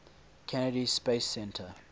kennedy space center